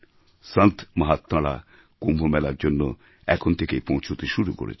সন্তমহাত্মারা কুম্ভ মেলার জন্য এখন থেকেই পৌঁছতে শুরু করেছেন